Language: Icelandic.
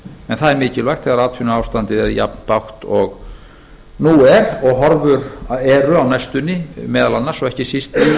en það er mikilvægt þegar atvinnuástandið er jafn bágt og nú er og horfur eru á á næstunni meðal annars og ekki síst